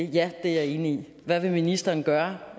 det ja det er jeg enig i hvad vil ministeren gøre